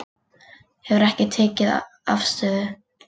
Hefur ekki tekið afstöðu